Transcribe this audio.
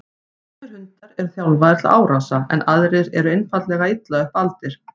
Sumir hundar eru þjálfaðir til árása en aðrir eru einfaldlega illa upp aldir.